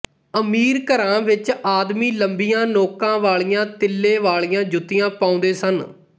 ਅਮੀਰ ਘਰਾਂ ਵਿੱਚ ਆਦਮੀ ਲੰਬੀਆਂ ਨੋਕਾਂ ਵਾਲੀਆਂ ਤਿੱਲੇ ਵਾਲੀਆਂ ਜੁੱਤੀਆਂ ਪਾਉਂਦੇ ਸਨ